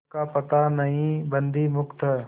पोत का पता नहीं बंदी मुक्त हैं